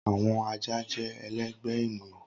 Awọn aja jẹ ẹlẹgbẹ eniyan.